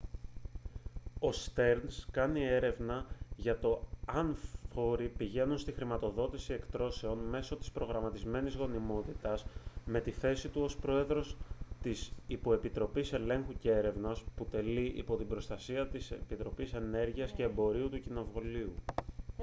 ο στερνς κάνει έρευνα για το αν φόροι πηγαίνουν στη χρηματοδότηση εκτρώσεων μέσω της προγραμματισμένης γονιμότητας με τη θέση του ως πρόεδρος της υποεπιτροπής ελέγχου και έρευνας που τελεί υπό την προστασία της επιτροπής ενέργειας και εμπορίου του κοινοβουλίου